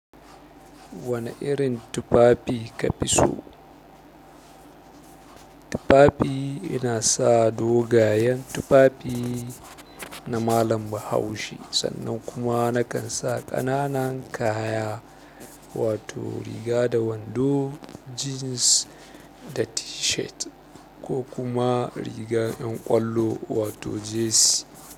Wane irin tufafi ka fi so? Tufafi ina sa dogayen tufafi na malam Bahaushe sannan kuma nakan sa ƙananan kaya. Wato riga da wando, jeans da t-shirt ko kuma riga 'yan ƙwallo wato jersey.